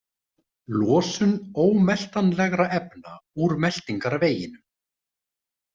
Losun ómeltanlegra efna úr meltingarveginum.